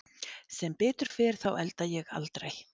Sem betur fer þá elda ég aldrei.